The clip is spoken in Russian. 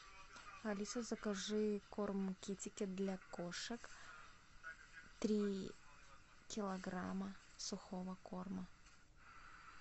алиса закажи корм китикет для кошек три килограмма сухого корма